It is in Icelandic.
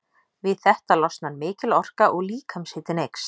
Við þetta losnar mikil orka og líkamshitinn eykst.